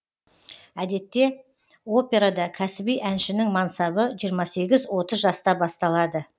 әдетте операда кәсіби әншінің мансабы жиырма сегіз отыз жаста басталады